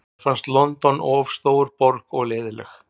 Mér finnst London of stór borg og leiðinleg.